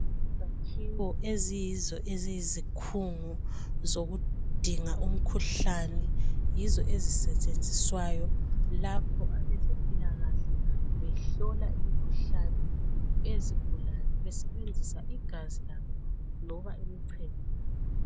Izakhiwo eziyizo eziyizikhungu zokudinga umkhuhlane yizo ezisetshenziswayo lapho abezempilakahle behlola imkhuhlane eyezigulane besebenzisa igazi labo loba imchemo yabo.